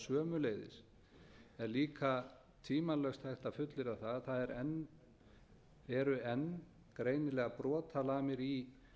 sömuleiðis er líka tvímælalaust hægt að fullyrða að það eru enn greinilegar brotalamir í